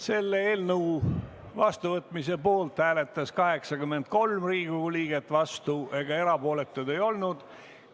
Selle eelnõu vastuvõtmise poolt hääletas 83 Riigikogu liiget, vastuolijaid ega erapooletuid ei olnud.